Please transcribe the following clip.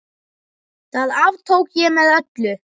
Það aftók ég með öllu.